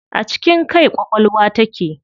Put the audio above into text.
A cikin kai ƙwaƙwalwa take.